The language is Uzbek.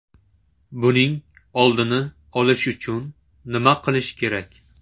Buning oldini olish uchun nima qilish kerak?